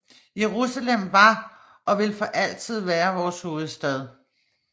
Jerusalem var og vil for altid være vores hovedstad